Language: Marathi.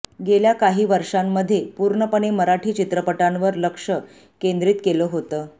गेल्या काही वर्षांमध्ये पूर्णपणे मराठी चित्रपटांवर लक्ष केंद्रीत केलं होतं